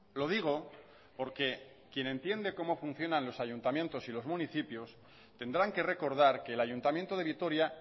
lo digo porque quien entiende como funcionan los ayuntamientos y los municipios tendrán que recordar que el ayuntamiento de vitoria